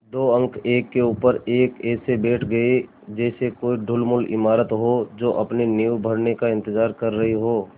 दो अंक एक के ऊपर एक ऐसे बैठ गये जैसे कोई ढुलमुल इमारत हो जो अपनी नींव भरने का इन्तज़ार कर रही हो